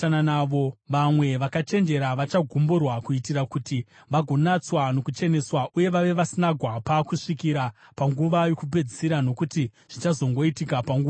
Vamwe vakachenjera vachagumburwa, kuitira kuti vagonatswa, nokucheneswa uye vave vasina gwapa kusvikira panguva yokupedzisira, nokuti zvichazongoitika panguva yakatarwa.